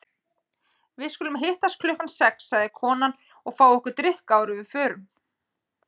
Við skulum hittast klukkan sex, sagði konan, og fá okkur drykk áður en við förum.